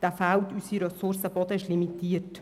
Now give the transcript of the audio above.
Denn unsere Ressource Boden ist limitiert.